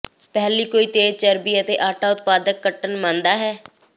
ਪਹਿਲੀ ਕੋਈ ਤੇਜ਼ ਚਰਬੀ ਅਤੇ ਆਟਾ ਉਤਪਾਦ ਕੱਟਣ ਮੰਨਦਾ ਹੈ